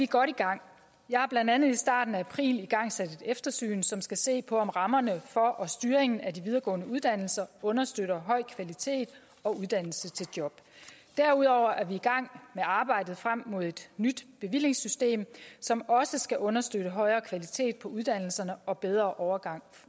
godt i gang jeg har blandt andet i starten af april igangsat et eftersyn som skal se på om rammerne for og styringen af de videregående uddannelser understøtter høj kvalitet og uddannelse til job derudover er vi i gang med arbejdet frem mod et nyt bevillingssystem som også skal understøtte højere kvalitet på uddannelserne og en bedre overgang